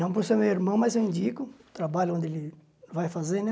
Não por ser meu irmão, mas eu indico, o trabalho onde ele vai fazer, né?